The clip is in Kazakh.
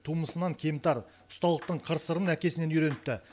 тумысынан кемтар ұсталықтың қыр сырын әкесінен үйреніпті